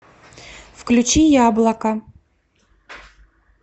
включи яблоко